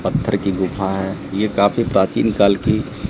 पत्थर की गुफा है ये काफी प्राचीन काल की--